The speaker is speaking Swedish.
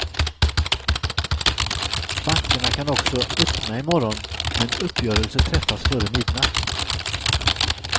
Bankerna kan också öppna i morgon om en uppgörelse träffas före midnatt.